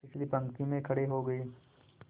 पिछली पंक्ति में खड़े हो गए